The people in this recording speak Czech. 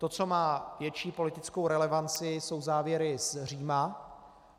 To, co má větší politickou relevanci, jsou závěry z Říma.